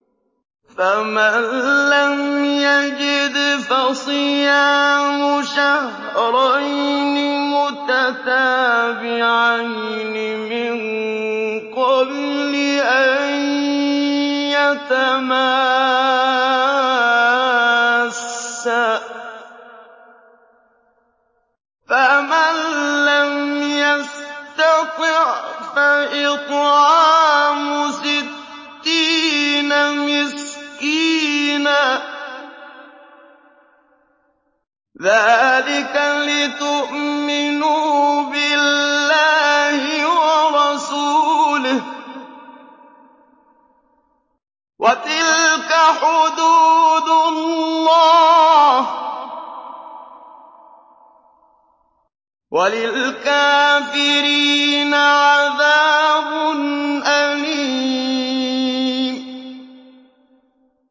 فَمَن لَّمْ يَجِدْ فَصِيَامُ شَهْرَيْنِ مُتَتَابِعَيْنِ مِن قَبْلِ أَن يَتَمَاسَّا ۖ فَمَن لَّمْ يَسْتَطِعْ فَإِطْعَامُ سِتِّينَ مِسْكِينًا ۚ ذَٰلِكَ لِتُؤْمِنُوا بِاللَّهِ وَرَسُولِهِ ۚ وَتِلْكَ حُدُودُ اللَّهِ ۗ وَلِلْكَافِرِينَ عَذَابٌ أَلِيمٌ